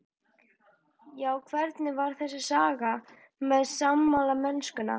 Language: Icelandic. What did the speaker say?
Já, hvernig var þessi saga með smalamennskuna?